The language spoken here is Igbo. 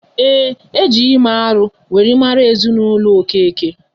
Ee, e ji ime alụ wéré mara ezinaụlọ Okeke